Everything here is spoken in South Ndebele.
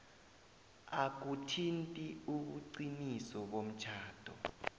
akuthinti ubuqiniso bomtjhado